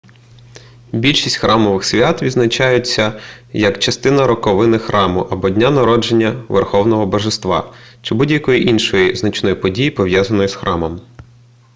більшість храмових свят відзначаються як частина роковини храму або дня народження верховного божества чи будь-якої іншої значної події пов'язаної з храмом